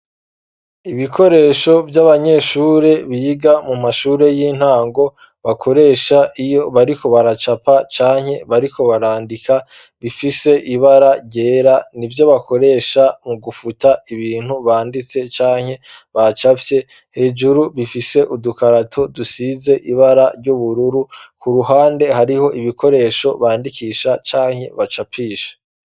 Ibikoresho vy'abanyeshuri biga mu mashuri y'intango bakoresha iyo bariko baracapa canke bariko barandika bifise ibara yera nivyo bakoresha mu gufuta ibintu banditse canke bacafye hejuru bifise udukarato dusize ibara ry'ubururu ku ruhande hariho ibikoresho bandikisha canke bacapisha.